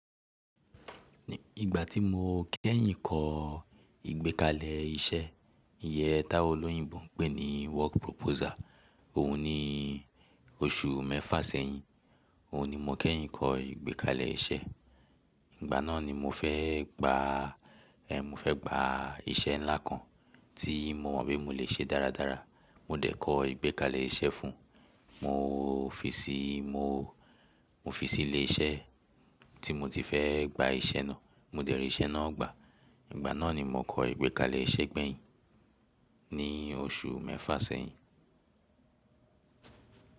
Ìgbà tí mo kẹ́yìn kọ ìgbékalẹ̀ iṣẹ́, iyen táwọn olóyìnbo ń pè ní work proposal. Òhun ni oṣù mẹ́fà sẹ́yìn. Òhun ni mo kẹ́yìn kọ ìgbékalẹ̀ iṣẹ́. Ìgbà náà ni mo fẹ́ gba, eh, mo fẹ́ gba iṣẹ́ ńlá kan tí mo mọ̀ pé mo lè ṣe dáradára. Mo dẹ̀ kọ ìgbékalẹ̀ iṣẹ́ fún un. Mo fi sí, mo, mo fi sí ilé iṣẹ́ tí mo ti fẹ́ gba iṣẹ́ náà. Mo dẹ̀ ri iṣẹ́ náà gbà. Ìgbà náà ni mo kọ ìgbékalẹ̀ iṣẹ́ gbẹ̀yìn, ní oṣù mẹ́fà sẹ́yìn.